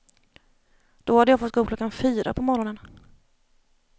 Då hade jag fått gå upp klockan fyra på morgonen.